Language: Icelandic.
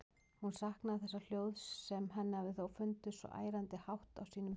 Hún saknaði þessa hljóðs, sem henni hafði þó fundist svo ærandi hátt á sínum tíma.